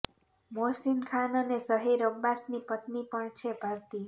મોહસિન ખાન અને ઝહીર અબ્બાસની પત્ની પણ છે ભારતીય